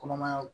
Kɔnɔmaya